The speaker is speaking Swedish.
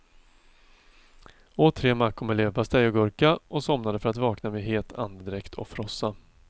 Åt tre mackor med leverpastej och gurka, och somnade för att vakna med het andedräkt och frossa.